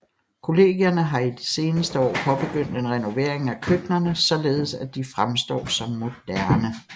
Kollegierne har i de seneste år påbegyndt en renovering af køkkenerne således at de fremstår som moderne